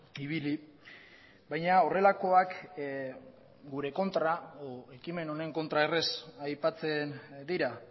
ibili baina horrelakoak ekimen honen kontra erraz aipatzen dira